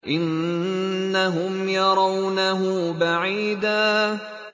إِنَّهُمْ يَرَوْنَهُ بَعِيدًا